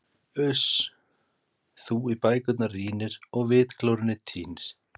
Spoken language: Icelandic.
Uss, þú í bækurnar rýnir og vitglórunni týnir.